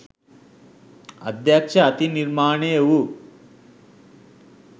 අධ්‍යක්ෂ අතින් නිර්මාණය වු